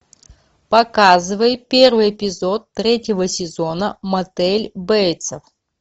показывай первый эпизод третьего сезона мотель бейтса